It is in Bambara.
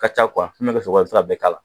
Ka ca min bɛkɛ sogo la i bɛ se k'a bɛɛ k'a la